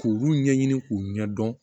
K'olu ɲɛɲini k'u ɲɛdɔn